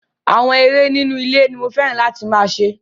Àwọn eré inú ilé ní mo fẹ́ràn láti máa ṣe.